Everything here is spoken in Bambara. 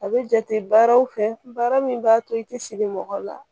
A bɛ jate baaraw fɛ baara min b'a to i tɛ siri mɔgɔ la